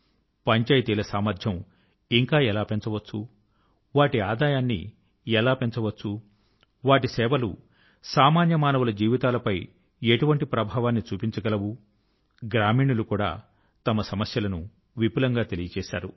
పంచాయతీల సామర్థ్యం ఇంకా ఎలా పెంచవచ్చు వాటి ఆదాయాన్ని ఎలా పెంచవచ్చు వాటి సేవలు సామాన్య మానవుల జీవితాలపై ఎటువంటి ప్రభావాన్ని చూపించగలవు గ్రా మీణులు కూడా తమ సమస్యల ను విపులం గా తెలిపారు